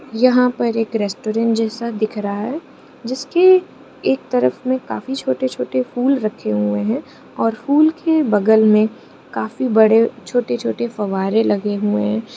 यहां पर एक रेस्टोरेंट जैसा दिख रहा है। जिसके एक तरफ में काफी छोटे-छोटे फूल रखे हुए हैं और फूल के बगल में काफी बड़े छोटे-छोटे फव्वारे लगे हैं।